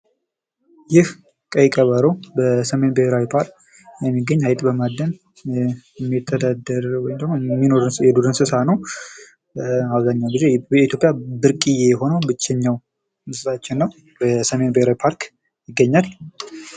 ይህ ቀይ ቀበሮ በሰሜን ብሄራዊ ፓርክ ነው ሚገኝ ።አይጥ በማደን የሚተዳደር ወይም የሚኖር የዱር እንስሳት ነው ። አብዛኛውን ጊዜ በኢትዮጵያ ብርቅዬ የሆነው ብቸኛው እንስሳችን ነው ።በሰሜን ብሄራዊ ፓርክ ይገኛል ።